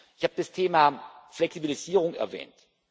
Ich habe das Thema Flexibilisierung erwähnt.